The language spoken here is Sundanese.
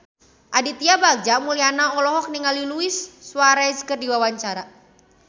Aditya Bagja Mulyana olohok ningali Luis Suarez keur diwawancara